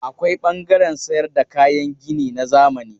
Akwai ɓangaren sayar da kayan gini na zamani.